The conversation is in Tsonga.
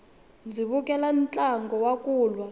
ndzi vukele ntlangu wa kulwa